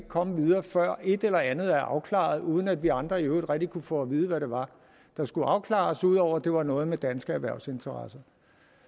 komme videre før et eller andet er afklaret uden at vi andre så i øvrigt rigtig kunne få at vide hvad det var der skulle afklares ud over at det var noget med danske erhvervsinteresser